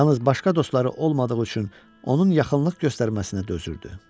Yalnız başqa dostları olmadığı üçün onun yaxınlıq göstərməsinə dözürdü.